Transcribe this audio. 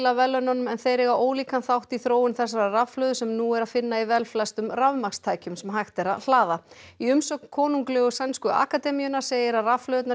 verðlaununum en þeir eiga ólíkan þátt í þróun þessarar rafhlöðu sem nú er að finna í velflestum rafmagnstækjum sem hægt er að hlaða í umsögn konunglegu sænsku akademíunnar segir að rafhlöðurnar